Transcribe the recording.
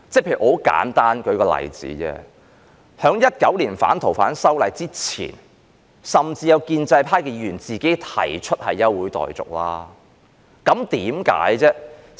很簡單，舉例而言，在2019年反《逃犯條例》之前，甚至有建制派議員亦提出休會待續議案，為甚麼呢？